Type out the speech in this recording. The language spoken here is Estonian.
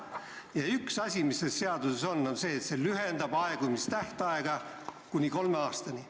Ja üks asi, mis selles eelnõus on, on see, et see lühendab aegumistähtaega kolme aastani.